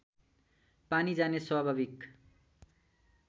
पानी जाने स्वाभाविक